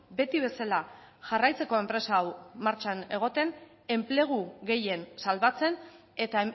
beti bezala jarraitzeko enpresa hau martxan egoten enplegu gehien salbatzen eta